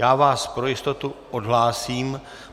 Já vás pro jistotu odhlásím.